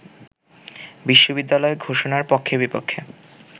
বিশ্ববিদ্যালয় ঘোষণার পক্ষে-বিপক্ষে